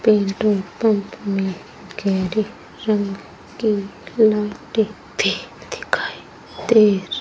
petrol pump में गहरी रंग की लाइटे भी दिखाई दे र --